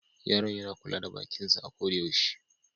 Yaron yana kula da bakin sa a ko da yaushe.